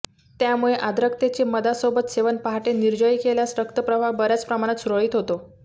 त्यामुळे आर्द्रकचे मधासोबत सेवन पहाटे निर्जळी केल्यास रक्त प्रवाह बऱ्याच प्रमाणात सुरळीत होतो